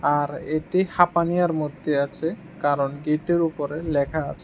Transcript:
আর এটি হাপানীয়ার মধ্যে আছে কারণ গেটের উপরে লেখা আছে।